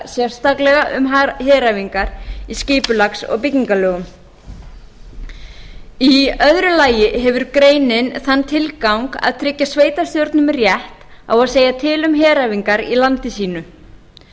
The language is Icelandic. sérstaklega um heræfingar í skipulags og byggingarlögum í öðru lagi hefur greinin þann tilgang að tryggja sveitarstjórnum rétt á að segja til um heræfingar í landi sínu